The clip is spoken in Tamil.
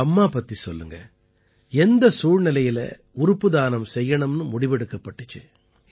உங்க அம்மா பத்தி சொல்லுங்க எந்தச் சூழ்நிலையில உறுப்பு தானம் செய்யணும்னு முடிவெடுக்கப்பட்டது